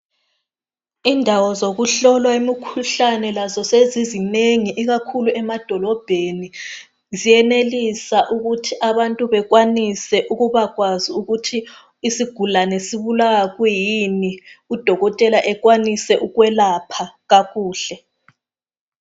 Indawo zokuhlolwa imikhuhlane lazo sezizinengi ikakhulu emadolobheni ziyenelisa ukuthi abantu bekwanise ukubakwazi ukuthi isigulane sibulawa kwiyini udokotela ekwanise ukwelapha kakuhle.